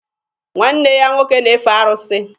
Nwanne ya nwoke na-efe arụsị.